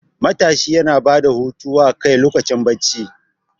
Matashi yana bada hutu wa kai lokacin barci